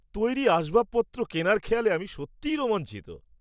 তৈরি আসবাবপত্র কেনার খেয়ালে আমি সত্যিই রোমাঞ্চিত।